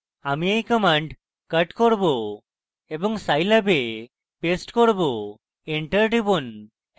আমি এই command cut করব এবং scilab এ paste করব enter টিপুন